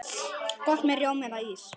Gott með rjóma eða ís.